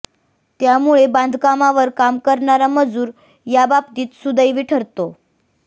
त्यामुळे बांधकामावर काम करणारा मजूर या बाबतीत सुदैवी ठरतो